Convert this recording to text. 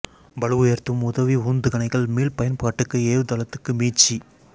பளு உயர்த்தும் உதவி உந்துகணைகள் மீள் பயன்பாட்டுக்கு ஏவு தளத்துக்கு மீட்சி